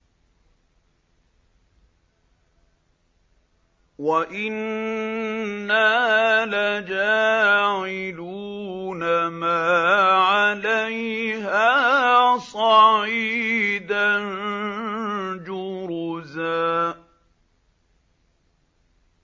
وَإِنَّا لَجَاعِلُونَ مَا عَلَيْهَا صَعِيدًا جُرُزًا